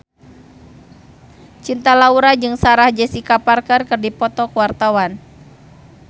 Cinta Laura jeung Sarah Jessica Parker keur dipoto ku wartawan